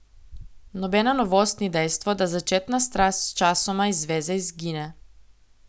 Nobena novost ni dejstvo, da začetna strast sčasoma iz zveze izgine.